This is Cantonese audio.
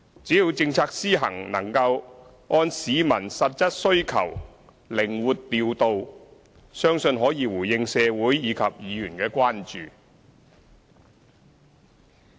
只要政策施行能夠按市民實質需求靈活調度，相信可以回應社會及議員的關注。